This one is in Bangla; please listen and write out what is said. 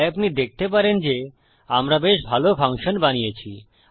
তাই আপনি দেখতে পারেন যে আমরা বেশ ভালো ফাংশন বানিয়েছি